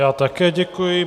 Já také děkuji.